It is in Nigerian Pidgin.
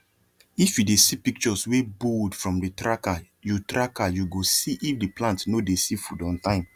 if you dey see pictures wey bold from the trackeryou trackeryou go see if the plant no dey see food on time